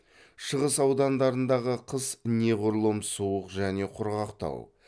шығыс аудандарындағы қыс неғұрлым суық және құрғақтау